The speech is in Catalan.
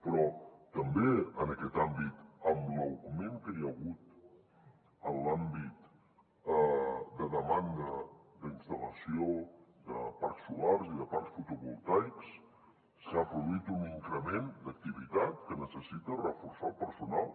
però també en aquest àmbit amb l’augment que hi ha hagut en l’àmbit de demanda d’instal·lació de parcs solars i de parcs fotovoltaics s’ha produït un increment d’activitat que necessita reforçar el personal